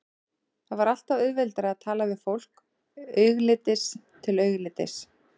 Það var alltaf auðveldara að tala við fólk augliti til auglitis.